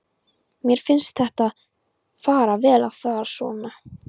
Mér finnst þér fara vel að vera svona.